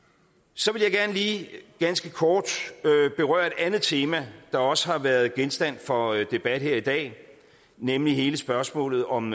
så vil jeg gerne lige ganske kort berøre et andet tema der også har været genstand for debat her i dag nemlig hele spørgsmålet om